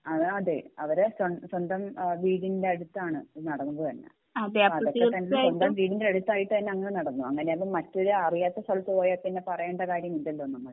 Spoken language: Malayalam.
അതെ അവരെ സ്വന്തം വീടിൻ്റെ അടുത്താണ് ഈ നടന്നത് തന്നെ അപ്പൊ അതൊക്കെ തന്നെ സംഭവം വീടിൻ്റെ അടുത്തായിട്ട് തന്നെ അങ്ങിനെ നടന്നു അങ്ങിനെ ആകുമ്പോ മറ്റൊരു അറിയാത്ത സ്ഥലത്ത് പോയി കഴിഞ്ഞാൽ പിന്നെ പറയണ്ട കാര്യം ഇല്ലാലോ നമ്മൾ